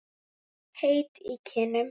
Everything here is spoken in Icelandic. Heit í kinnum.